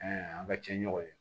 an ka cɛɲɔgɔnw ye